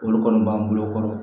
Olu kɔni b'an bolo kɔrɔ